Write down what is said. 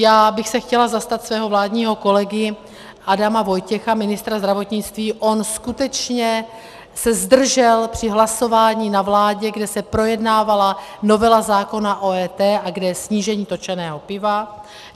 Já bych se chtěla zastat svého vládního kolegy Adama Vojtěcha, ministra zdravotnictví, on skutečně se zdržel při hlasování na vládě, kde se projednávala novela zákona o EET a kde je snížení točeného piva.